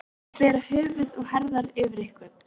Að bera höfuð og herðar yfir einhvern